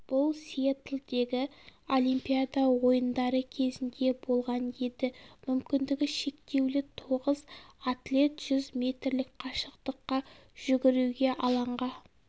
бұл сиэтлдегі олимпиада ойындары кезінде болған еді мүмкіндігі шектеулі тоғыз атлет жүз метрлік қашықтыққа жүгіруге алаңға